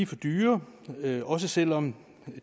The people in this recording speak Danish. for dyre også selv om